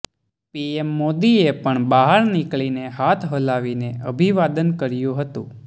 PM મોદીએ પણ બહાર નીકળીને હાથ હલાવીને અભિવાદન કર્યું હતું